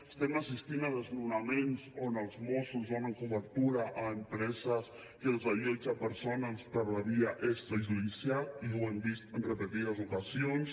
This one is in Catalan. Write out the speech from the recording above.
estem assistint a desnonaments on els mossos donen cobertura a empreses que desallotgen persones per la via extrajudicial i ho hem vist en repetides ocasions